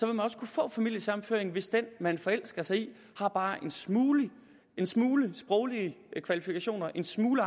man også kunne få familiesammenføring hvis den man forelsker sig i bare har en smule en smule sproglige kvalifikationer en smule